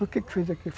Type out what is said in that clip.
Por que que fez aquilo?